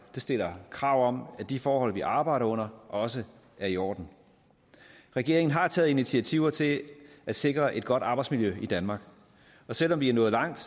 det stiller krav om at de forhold vi arbejder under også er i orden regeringen har taget initiativer til at sikre et godt arbejdsmiljø i danmark og selv om vi er nået langt